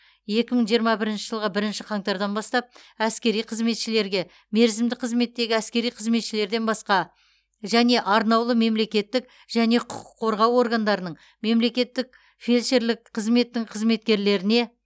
екі мың жиырма бірінші жылғы бірінші қаңтардан бастап әскери қызметшілерге мерзімді қызметтегі әскери қызметшілерден басқа және арнаулы мемлекеттік және құқық қорғау органдарының мемлекеттік фельдшерлік қызметтің қызметкерлеріне